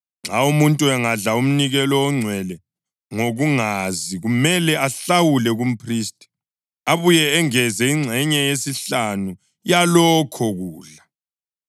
Nxa umuntu engadla umnikelo ongcwele ngokungazi kumele ahlawule kumphristi, abuye engeze ingxenye yesihlanu yalokho kudla.